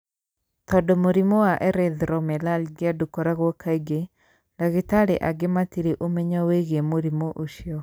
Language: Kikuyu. Tondũ mũrimũ wa erythromelalgia ndũkoragwo kaingĩ, ndagĩtarĩ aingĩ matirĩ ũmenyo wĩgiĩ mũrimũ ũcio.